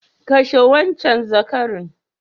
Kashe wancan zakarin!